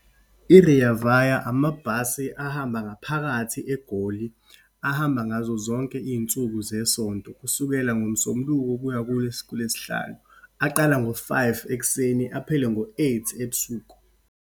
I-Rea Vaya, amabhasi ahamba ngaphakathi eGoli, ahamba ngazo zonke iyinsuku zesonto, kusukela ngoMsombuluko kuya kuLwesihlanu. Aqala ngo-five ekuseni, aphele ngo-eight ebusuku.